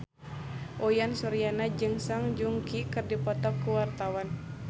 Uyan Suryana jeung Song Joong Ki keur dipoto ku wartawan